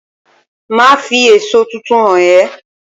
Màá fi èso tuntun hàn é